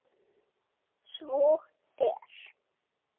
Svo er